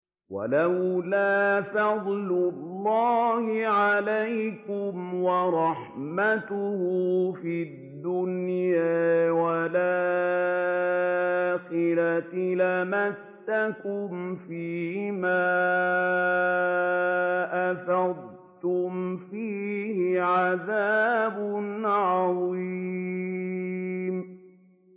وَلَوْلَا فَضْلُ اللَّهِ عَلَيْكُمْ وَرَحْمَتُهُ فِي الدُّنْيَا وَالْآخِرَةِ لَمَسَّكُمْ فِي مَا أَفَضْتُمْ فِيهِ عَذَابٌ عَظِيمٌ